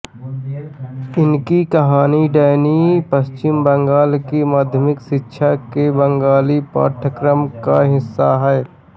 इनकी कहानी डैनी पश्चिम बंगाल की माध्यमिक शिक्षा के बंगाली पाठ्यक्रम का हिस्सा है